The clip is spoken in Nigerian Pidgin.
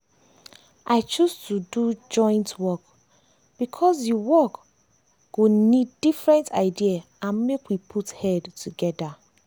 i choose to do joint work because the work go need need different idea and make we put head together.